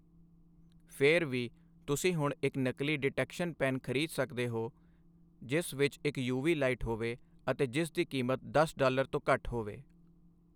ਫਿਰ ਵੀ, ਤੁਸੀਂ ਹੁਣ ਇੱਕ ਨਕਲੀ ਡਿਟੈਕਸ਼ਨ ਪੈੱਨ ਖਰੀਦ ਸਕਦੇ ਹੋ ਜਿਸ ਵਿੱਚ ਇੱਕ ਯੂਵੀ ਲਾਈਟ ਹੋਵੇ ਅਤੇ ਜਿਸ ਦੀ ਕੀਮਤ ਦਸ ਡਾਲਰ ਤੋਂ ਘੱਟ ਹੋਵੇ।